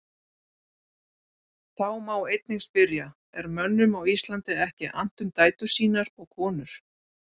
Þá má einnig spyrja: Er mönnum á Íslandi ekki annt um dætur sínar og konur?